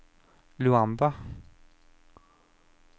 Luanda